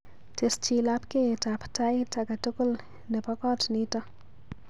Tesyi lapkeiyetab tait akatukul nebo kot nito.